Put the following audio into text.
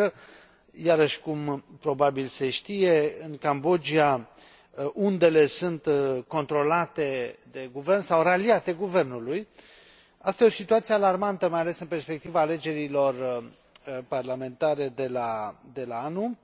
Numai că iarăși, cum probabil se știe în Cambodgia undele sunt controlate de guvern sau raliate guvernului. Asta e o situație alarmantă, mai ales în perspectiva alegerilor parlamentare de la anul,